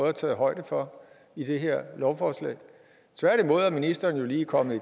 er taget højde for i det her lovforslag tværtimod er ministeren jo lige kommet